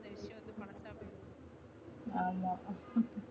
ஆமா